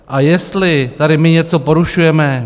A jestli tady my něco porušujeme?